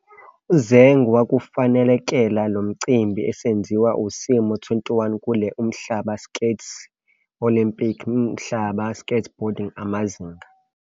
Zeng wakufanelekela lomcimbi esenziwa simo 21 kule Umhlaba Skate -Olympic Umhlaba Skateboarding Amazinga.